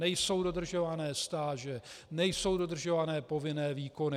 Nejsou dodržované stáže, nejsou dodržované povinné výkony.